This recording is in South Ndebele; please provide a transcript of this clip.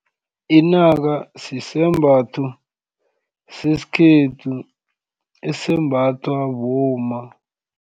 Inaka sisembatho sesikhethu esembathwa bomma.